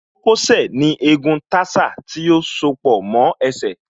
Kókó sẹ̀ ní egun tarsal tí ó soó pọ̀ mọ́ ẹsẹ̀